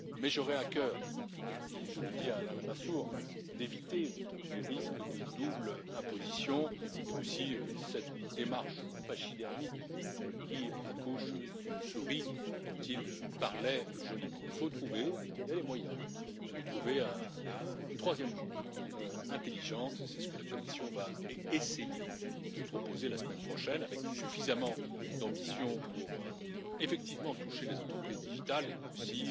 J'aurai néanmoins à cœur je le dis à Alain Lamassoure d'éviter les risques de double imposition et aussi cette démarche pachydermique qui accouche d'une souris dont il parlait joliment. Il faut trouver et il y a les moyens de trouver une troisième voie intelligente et c'est ce que la Commission va essayer de proposer la semaine prochaine avec suffisamment d'ambition pour, effectivement, toucher les entreprises numériques et aussi